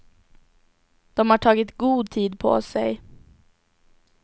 De har tagit god tid på sig.